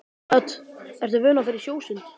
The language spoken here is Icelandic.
Hödd: Ertu vön að fara í sjósund?